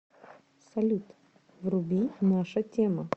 салют вруби наша тема